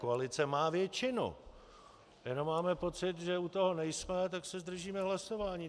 Koalice má většinu, jenom máme pocit, že u toho nejsme, tak se zdržíme hlasování.